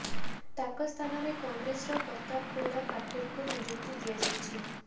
ତାଙ୍କ ସ୍ଥାନରେ କଂଗ୍ରେସର ପ୍ରତାପ ଗୌଡ଼ା ପାଟିଲଙ୍କୁ ନିଯୁକ୍ତି ଦିଆଯାଇଛି